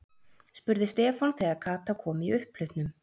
spurði Stefán þegar Kata kom í upphlutnum.